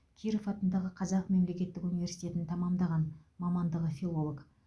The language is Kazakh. киров атындағы қазақ мемлекеттік университетін тәмамдаған мамандығы филолог